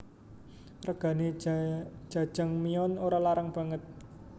Regane Jajangmyeon ora larang banget